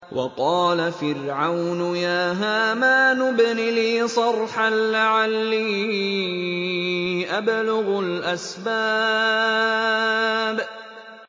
وَقَالَ فِرْعَوْنُ يَا هَامَانُ ابْنِ لِي صَرْحًا لَّعَلِّي أَبْلُغُ الْأَسْبَابَ